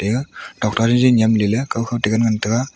ega tuakta jenjen nyamlelay kaw kho tegan ngan taiga.